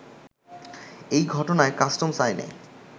এই ঘটনায় কাস্টমস আইনে